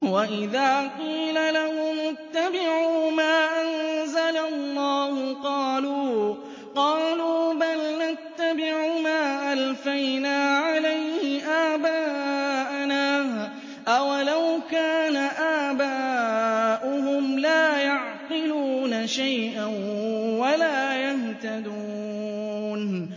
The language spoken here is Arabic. وَإِذَا قِيلَ لَهُمُ اتَّبِعُوا مَا أَنزَلَ اللَّهُ قَالُوا بَلْ نَتَّبِعُ مَا أَلْفَيْنَا عَلَيْهِ آبَاءَنَا ۗ أَوَلَوْ كَانَ آبَاؤُهُمْ لَا يَعْقِلُونَ شَيْئًا وَلَا يَهْتَدُونَ